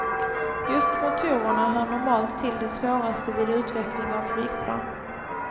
Just motorerna hör normalt till det svåraste vid utveckling av flygplan.